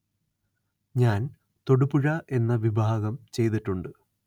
ഞാന്‍ തൊടുപുഴ എന്ന വിഭാഗം ചെയ്തിട്ടുണ്ട്